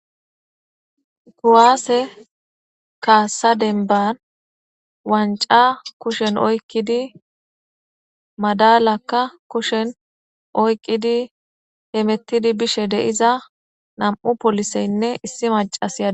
Kuwaase kaasa denbar wanca kushen oykkidi madalakka kushen oykqidi hemettidi bishe deiza nam'u poliseynne issi macas iyade.